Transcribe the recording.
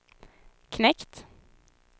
knekt